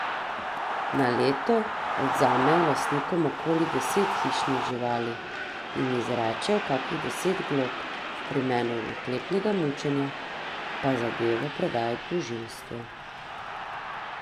Na leto odvzamejo lastnikom okoli deset hišnih živali in izrečejo kakih deset glob, v primeru naklepnega mučenja pa zadevo predajo tožilstvu.